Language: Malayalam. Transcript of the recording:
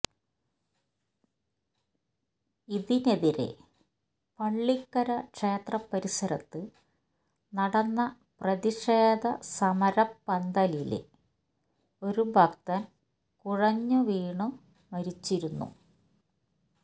ഇതിനെതിരെ പള്ളിക്കര ക്ഷേത്രപരിസരത്ത് നടന്ന പ്രതിഷേധ സമരപന്തലില് ഒരു ഭക്തന് കുഴഞ്ഞ് വീണ് മരിച്ചിരുന്നു